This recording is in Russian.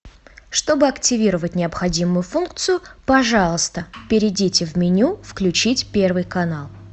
чтобы активировать необходимую функцию пожалуйста перейдите в меню включить первый канал